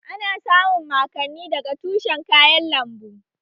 Ana samun mankani daga tushen kayan lambu